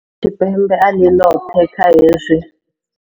Afrika Tshipembe a ḽi ḽoṱhe kha hezwi.